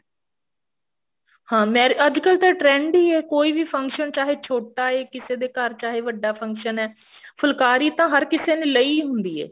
ਹਾਂ marriage ਅੱਜਕਲ ਤਾਂ trend ਹੀ ਐ ਕੋਈ ਵੀ function ਚਾਹੇ ਛੋਟਾ ਐ ਕਿਸੇ ਦੇ ਘਰ ਚਾਹੇ ਵੱਡਾ function ਐ ਫੁਲਕਾਰੀ ਤਾਂ ਹਰ ਕਿਸੀ ਨੇ ਲਈ ਹੁੰਦੀ ਹੈ